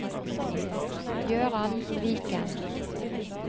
Gøran Viken